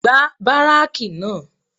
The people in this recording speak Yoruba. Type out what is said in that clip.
Gbá báráàkì náà